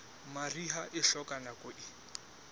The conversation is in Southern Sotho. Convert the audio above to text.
mariha e hloka nako e